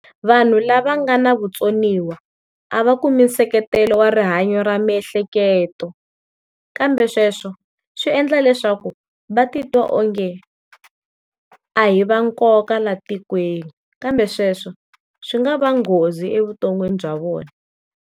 Vanhu lava nga na vatsoniwa a va kumi nseketelo wa rihanyo ra miehleketo, kambe sweswo swi endla leswaku va ti twa o nge a hi va nkoka laha tikweni kambe sweswo swi nga va nghozi evuton'wini bya vona.